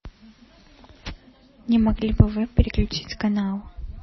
не могли бы вы переключить канал